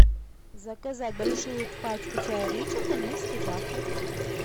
заказать большую пачку чая ричард английский завтрак